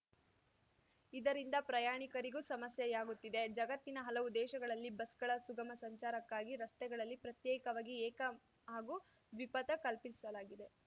ಇದರಿಂದ ಪ್ರಯಾಣಿಕರಿಗೂ ಸಮಸ್ಯೆಯಾಗುತ್ತಿದೆ ಜಗತ್ತಿನ ಹಲವು ದೇಶಗಳಲ್ಲಿ ಬಸ್‌ಗಳ ಸುಗಮ ಸಂಚಾರಕ್ಕಾಗಿ ರಸ್ತೆಗಳಲ್ಲಿ ಪ್ರತ್ಯೇಕವಾಗಿ ಏಕ ಹಾಗೂ ದ್ವಿಪಥ ಕಲ್ಪಿಸಲಾಗಿದೆ